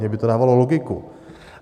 Mně by to dávalo logiku.